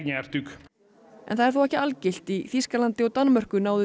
það er þó ekki algilt í Þýskalandi og Danmörku náðu